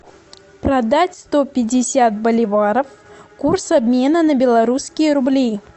продать сто пятьдесят боливаров курс обмена на белорусские рубли